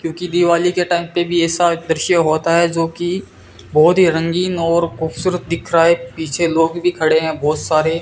क्योंकि दिवाली के टाइम पे भी ऐसा दृश्य होता है जो कि बहुत ही रंगीन और खूबसूरत दिख रहा है पीछे लोग भी खड़े हैं बहुत सारे।